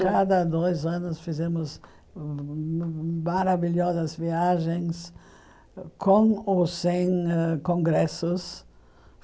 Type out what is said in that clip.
Cada dois anos fizemos maravilhosas viagens com ou sem congressos.